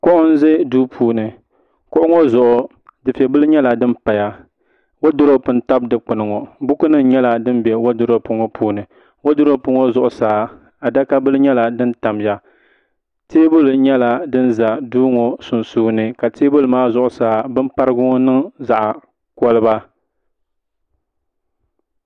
kuɣu n ʒɛ duu puuni kuɣu ŋɔ zuɣu dufɛ bili nyɛla din paya woodurop n tabi dikpuni ŋɔ buku nim nyɛla din bɛ woodurop ŋɔ puuni woodurop ŋɔ zuɣusaa adaka bili nyɛla din tamya teebuli nyɛla din ʒɛ duu ŋɔ sunsuuni teebuli maa zuɣusaa bin parigu ŋɔ niŋ zaɣ koliba